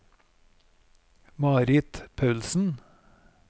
Marit Paulsen